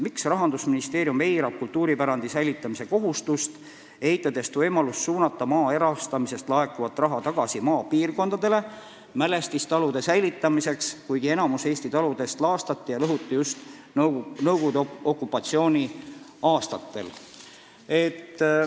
Miks Rahandusministeerium eirab kultuuripärandi säilitamise kohustust, eitades võimalust suunata maa erastamisest laekuvat raha tagasi maapiirkondadele mälestistalude säilitamiseks, kuigi enamus Eesti taludest laastati ja lõhuti just Nõukogude okupatsiooni aastatel?